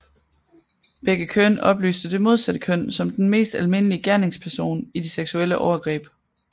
Begge køn oplyste det modsatte køn som den mest almindelige gerningsperson i de seksuelle overgreb